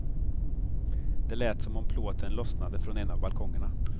Det lät som om plåten lossnade från en av balkongerna.